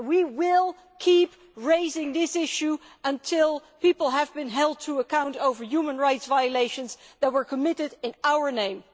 We will keep raising this issue until people have been held to account over human rights violations that were committed in our name.